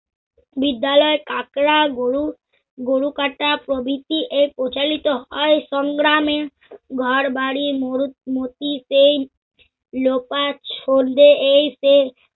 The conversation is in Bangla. বিদ্যালয় কাঁকড়া, গরু, গরুকাটা প্রভৃতি এই প্রচলিত আর সংগ্রামে ঘরবাড়ী মোরগ মতি সেই লোকাজ সন্ধ্যে এই সেই